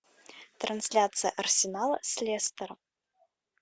трансляция арсенала с лестером